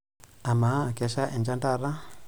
Amaa, kesha enchan taata?